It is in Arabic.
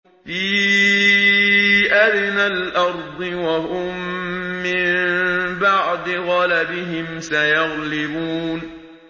فِي أَدْنَى الْأَرْضِ وَهُم مِّن بَعْدِ غَلَبِهِمْ سَيَغْلِبُونَ